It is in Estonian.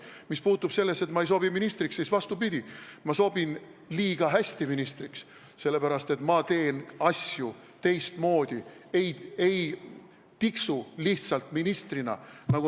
Mis puutub sellesse, et ma ei sobi ministriks, siis vastupidi, ma sobin liiga hästi ministriks, sest ma teen asju teistmoodi, ma ei tiksu lihtsalt ministrina.